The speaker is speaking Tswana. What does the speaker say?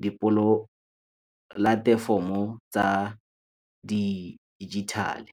dipolatefomo tsa di dijithale.